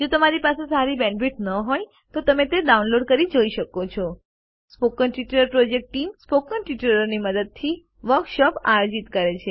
જો તમારી પાસે સારી બેન્ડવિડ્થ ન હોય તો તમે ડાઉનલોડ કરી તે જોઈ શકો છો spoken tutorial project team spoken ટ્યુટોરીયલોની મદદથી વર્કશોપ આયોજિત કરે છે